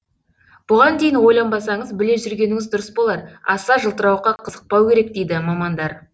бұған дейін ойланбасаңыз біле жүргеніңіз дұрыс болар аса жылтырауыққа қызықпау керек дейді мамандар